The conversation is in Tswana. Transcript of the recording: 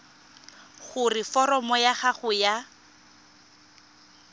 gore foromo ya gago ya